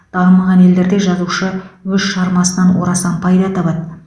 дамымаған елдерде жазушы өз шығармасынан орасан пайда табады